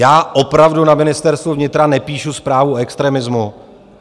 Já opravdu na Ministerstvu vnitra nepíšu zprávu o extremismu.